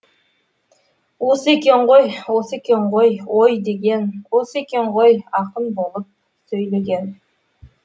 осы екен ғой осы екен ғой ой деген осы екен ғой ақын болып сөйлеген